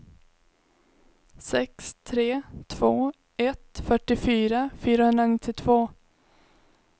sex tre två ett fyrtiofyra fyrahundranittiotvå